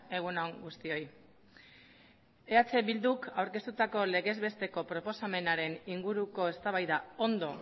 egun on guztioi eh bilduk aurkeztutako legez besteko proposamenaren inguruko eztabaida ondo